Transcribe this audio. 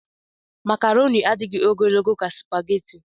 Makroni adịghị ogologo ka supageti.